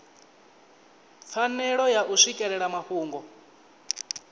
pfanelo ya u swikelela mafhungo